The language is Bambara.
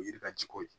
O ye yiri ka jigi ko ye